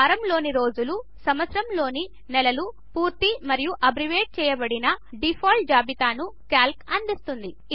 వారంలో ని రోజుల సంవత్సరములోని నెలల పూర్తి మరియు అబ్రివేట్ చేయబడిన డీఫాల్ట్ జాబితాను క్యాల్క్ అందిస్తుంది